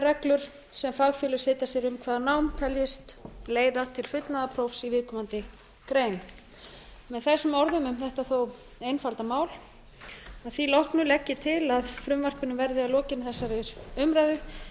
reglur sem fagfélög setja sér um hvaða nám teljist leiða til fullnaðarprófs í viðkomandi grein með þessum orðum nám þetta þó einfalda mál að því loknu legg ég til að frumvarpinu verði að lokinni þessari umræðu